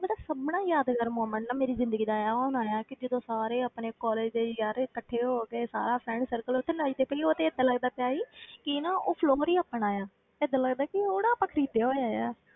ਮਤਲਬ ਸਭ ਨਾਲੋਂ ਯਾਦਗਾਰ moment ਨਾ ਮੇਰੀ ਜ਼ਿੰਦਗੀ ਦਾ ਉਹ ਹੋਣਾ ਹੈ ਕਿ ਜਦੋਂ ਸਾਰੇ ਆਪਣੇ college ਦੇ ਯਾਰ ਇਕੱਠੇ ਹੋ ਕੇ ਸਾਰਾ friend circle ਉੱਥੇ ਨੱਚਦਾ ਪਿਆ ਸੀ, ਉਹ ਤੇ ਏਦਾਂ ਲੱਗਦਾ ਪਿਆ ਸੀ ਕਿ ਨਾ ਉਹ floor ਹੀ ਆਪਣਾ ਆ, ਏਦਾਂ ਲੱਗਦਾ ਕਿ ਉਹ ਨਾ ਆਪਾਂ ਖ਼ਰੀਦਿਆ ਹੋਇਆ ਹੈ।